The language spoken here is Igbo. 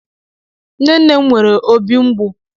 Nne nne m nwere obi mgbu.